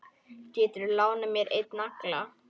Geturðu lánað mér einn nagla.